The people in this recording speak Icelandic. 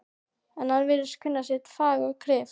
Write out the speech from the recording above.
En hann virðist kunna sitt fag og kryf